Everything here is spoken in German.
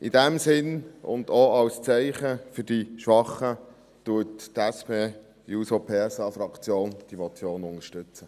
In dem Sinn, und auch als Zeichen für die Schwachen, unterstützt die SP-JUSO-PSA-Fraktion diese Motion.